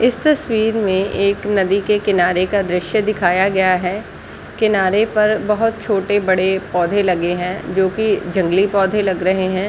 इस तस्वीर में एक नदी के किनारे का द्रश्य दिखाया गया है किनारे पर बहुत छोटे-बड़े पौधे लगे है जोकि जंगली पौधे लग रहे हैं।